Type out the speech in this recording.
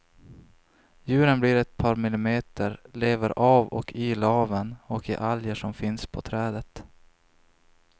Djuren blir ett par millimeter, lever av och i laven och i alger som finns på trädet.